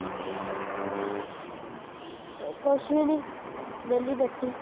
ਕੁੱਛ ਵੀ ਨਹੀਂ ਵਿਹਲੀ ਬੈਠੀ